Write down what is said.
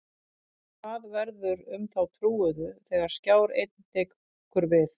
Hvað verður um þá trúuðu þegar Skjár Einn tekur við?